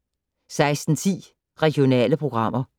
16:10: Regionale programmer